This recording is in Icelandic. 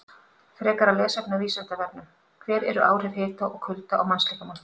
Frekara lesefni á Vísindavefnum: Hver eru áhrif hita og kulda á mannslíkamann?